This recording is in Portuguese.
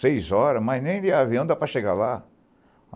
Seis horas, mas nem de avião dá para chegar lá.